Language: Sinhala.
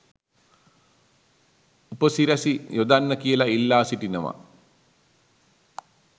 උපසිරැසි යොදන්න කියලා ඉල්ලා සිටිනවා